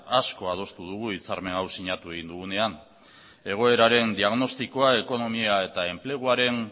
asko adostu dugu hitzarmen hau sinatu egin dugunean egoeraren diagnostikoa ekonomia eta enpleguaren